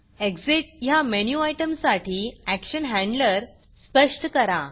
Exitएग्ज़िट ह्या मेनू आयटमसाठी action handler स्पष्ट करा